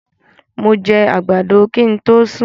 Mó jẹ àgbàdo kin to sún